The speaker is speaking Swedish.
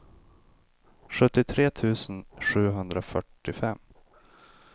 sjuttiotre tusen sjuhundrafyrtiofem